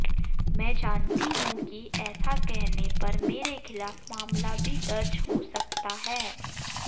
मैं जानती हूं कि ऐसा कहने पर मेरे खिलाफ मामला भी दर्ज हो सकता है